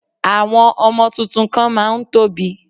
Àwọn ọmọ tuntun kan má a ń tóbi